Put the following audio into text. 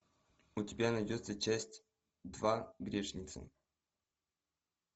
у тебя найдется часть два грешницы